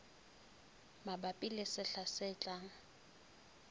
mabapi le sehla se tlang